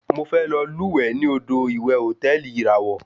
Mo fẹ lọ lúwẹ̀ẹ́ ní odò ìwẹ̀ hòtẹ́ẹ̀lì ìràwọ̀.